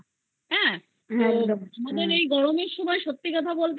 না হ্যা তো আবার এই গরমের মধ্যে সত্যি কথা বলতে